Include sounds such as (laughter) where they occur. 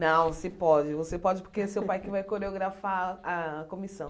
Não, você pode, você pode (laughs) porque é seu pai que vai coreografar a comissão.